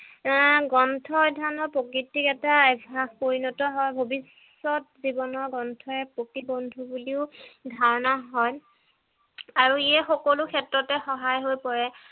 আহ গ্ৰন্থ অধ্যয়নৰ প্ৰকৃতিক এটা অভ্যাস পৰিণত হয় ভবিষ্যত জীৱনৰ গ্ৰন্থই প্ৰতি বন্ধু বুলিও ধাৰণা হয় আৰু ইয়ে সকলো ক্ষেত্ৰত সহায় হৈ পৰে